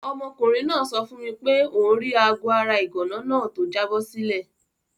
Ọmọkùnrin náà sọ fún mi pé òun rí aago ara ìgànná náà tó jábọ́ sílẹ̀.